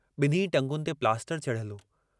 ॿिन्हीं टंगुनि ते प्लास्टर चढ़ियलु हो।